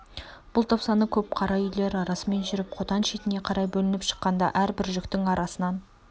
бұл топ саны көп қара үйлер арасымен жүріп қотан шетіне қарай бөлініп шыққанда әрбір жүктің арасынан